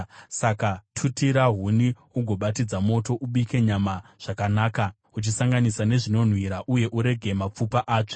Saka tutira huni ugobatidza moto. Ubike nyama zvakanaka, uchisanganisa nezvinonhuhwira; uye urege mapfupa atsve.